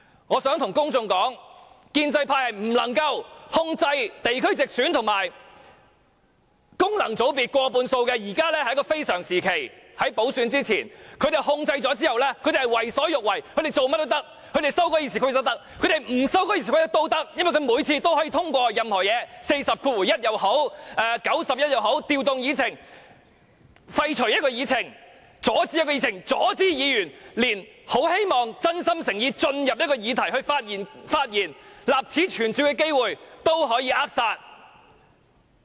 我想跟公眾說，建制派不能夠控制在地區直選和功能界別中有過半數議員，但現在是一個非常時期，在補選之前他們有控制權，他們為所欲為，做甚麼也可以，他們可以修改《議事規則》，他們不修改《議事規則》也可以，因為他們每次可以通過任何議案，根據第401條提出的也好，根據第91條提出的也好，可以調動議程、廢除議程、阻止議程、阻止議員，連議員真心誠意希望進入一項議題發言，立此存照的機會都可以扼殺。